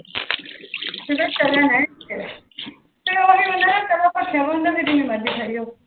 ਫਿਰ ਉਹੀ ਬੰਦਾ ਨਾ ਜਦੋ ਭਖਿਆਵਾ ਹੁੰਦਾ ਫਿਰ ਜਿਨੀ ਮਰਜੀ ਖਾਈ ਜਾਓ